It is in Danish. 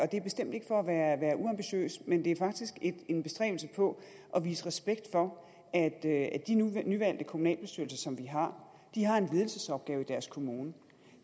det er bestemt ikke for at være uambitiøs men det er faktisk en bestræbelse på at vise respekt for at de nyvalgte kommunalbestyrelser som vi har har en ledelsesopgave i deres kommune